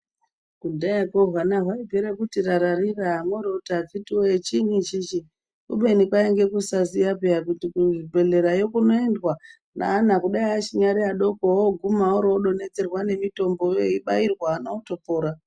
Kudhayako hwana hwaipera kuti rararira moro voti akhiti voye chinyi ichichi. Kubeni kwainge kusaziya peya kuti kuzvibhedhlerayo kunondwa neana kudai achinyari adoko oguma oro vodonhedzerwa nemitomboyo eibairwa vana votopora.